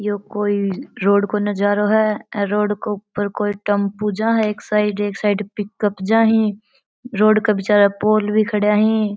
ये कोई रोड को नजारों है अ रोड के ऊपर एक साइड टेम्पू जा है एक साइड एक साइड पिकअप जा है रोड के बिचाले पोल खड़ा है।